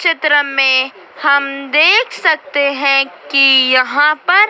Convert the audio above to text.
चित्र में हम देख सकते है कि यहाँ पर--